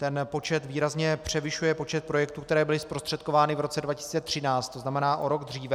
Ten počet výrazně převyšuje počet projektů, které byly zprostředkovány v roce 2013, to znamená o rok dříve.